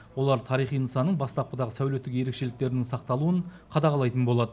олар тарихи нысанның бастапқыдағы сәулеттік ерекшеліктерінің сақталуын қадағалайтын болады